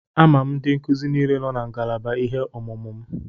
Ama m ndị nkuzi niile nọ na ngalaba ihe ọmụmụ m.